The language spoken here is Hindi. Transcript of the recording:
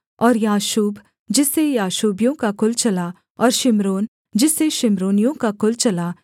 और याशूब जिससे याशूबियों का कुल चला और शिम्रोन जिससे शिम्रोनियों का कुल चला